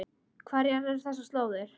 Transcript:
Hverjar eru þessar slóðir?